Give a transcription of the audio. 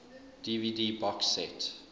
dvd box set